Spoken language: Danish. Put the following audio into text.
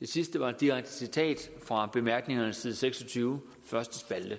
det sidste var et direkte citat fra bemærkningerne side seks og tyve første spalte